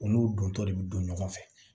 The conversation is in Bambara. U n'u dontɔ de bɛ don ɲɔgɔn fɛ